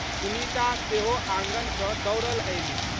सुनीता सेहो आँगन सँ दौड़ल अयलीह।